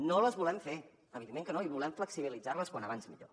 no les volem fer evidentment que no i volem flexibilitzar les com més aviat millor